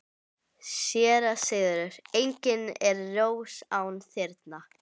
SÉRA SIGURÐUR: Engin er rós án þyrna.